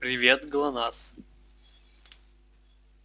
привет глонассс